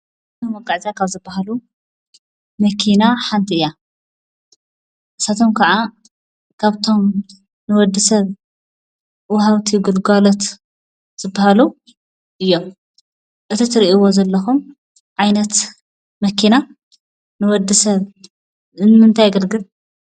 ንመጓዓዝያ ካብ ዝበሃሉ መኪና ሓንቲ እያ፡፡ ንሳቶም ከዓ ካብቶም ንወድ ሰብ ወሃብቲ ግልጋሎት ዝበሃሉ እዮም፡፡ እቲ ትሪእዎ ዘለኹም ዓይነት መኪና ንወድ ሰብ ንምንታይ የገልግል?